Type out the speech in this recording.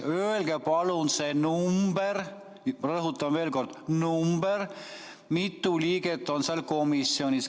Öelge palun see number – rõhutan veel kord: number –, mitu liiget on seal komisjonis.